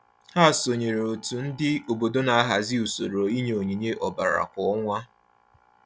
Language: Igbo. Ha sonyeere òtù ndị obodo na-ahazị usoro inye onyinye ọbara kwa ọnwa.